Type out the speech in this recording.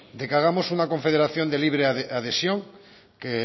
de que hagamos una confederación de libre adhesión que